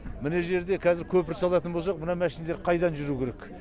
мына жерде кәзір көпір салатын болсақ мына мәшинелер қайдан жүру керек